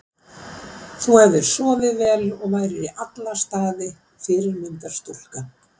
Þú hefðir sofið vel og værir í alla staði fyrirmyndar stúlka.